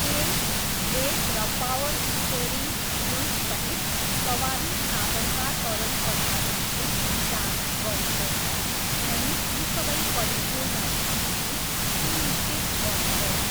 तेल, ब्रेक र power steering फ्लुइडसहित सवारी साधनका तरल पदार्थहरू जाँच गर्नुहोस् अनि ती सबै परिपूर्ण छन् भनी सुनिश्चित गर्नुहोस्।